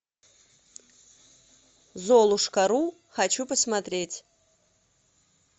золушка ру хочу посмотреть